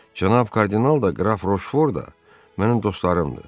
Cənab kardinal da, qraf Roşford da mənim dostlarımdır.